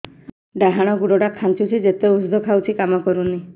ଡାହାଣ ଗୁଡ଼ ଟା ଖାନ୍ଚୁଚି ଯେତେ ଉଷ୍ଧ ଖାଉଛି କାମ କରୁନି